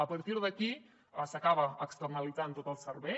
a partir d’aquí s’acaba externalitzant tot el servei